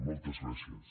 moltes gràcies